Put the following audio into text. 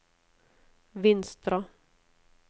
Vinstra